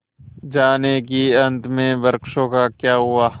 जानिए कि अंत में वृक्षों का क्या हुआ